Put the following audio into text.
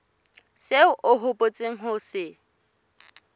seo o hopotseng ho se